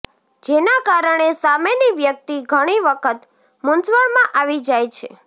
જેના કારણે સામેની વ્યક્તિ ઘણી વખત મૂંઝવણમાં આવી જાય છે